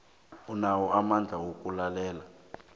inawo amandla wokulalela